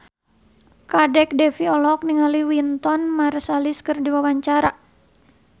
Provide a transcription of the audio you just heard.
Kadek Devi olohok ningali Wynton Marsalis keur diwawancara